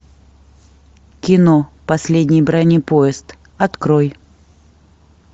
кино последний бронепоезд открой